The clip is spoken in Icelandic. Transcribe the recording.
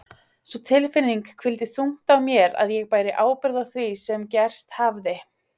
Sú tilfinning hvíldi þungt á mér að ég bæri ábyrgð á því sem gerst hafði.